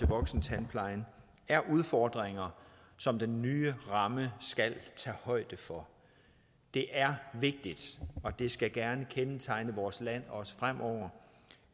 voksentandplejen er udfordringer som den nye ramme skal tage højde for det er vigtigt og det skal gerne kendetegne vores land også fremover